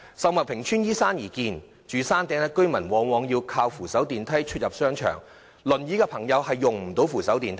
秀茂坪邨依山而建，住在山頂的居民往往依靠扶手電梯出入商場，使用輪椅的朋友卻無法使用扶手電梯。